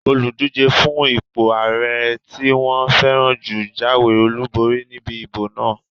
Olùdíjé fún ipò ààrẹ tí wọ́n fẹ́ràn jù jáwé olùborí níbi ìbò náà